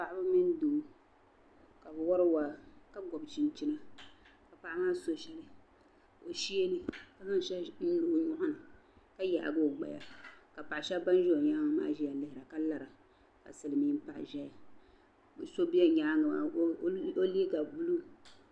Paɣba mini doo ka bi wari waa kagbub chin chini ka paɣ' maa so shɛli o sheeni kazaŋ shɛli n lo ɔ nyɔɣ ni ka yaagi ogbaya ka paɣ' shab banzi onyaaŋ maa ziya lihira. ka lara ka silimiin paɣa zaya . ka so bɛ nyaaŋ maa ɔ liiga blue.